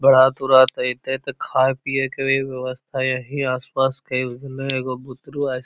बरात-उरात अइतइ तो खाय पिए के व्यवस्था यही आस-पास के भेलइ एगो बुतरू आज --